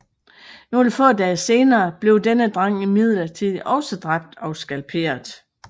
Nogle få dage senere blev denne dreng imidlertid også dræbt og skalperet